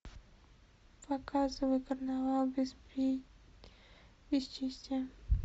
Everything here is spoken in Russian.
показывай карнавал бесчестия